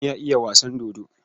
John ya iya wasan dodo.